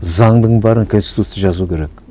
заңның бәрін конституция жазу керек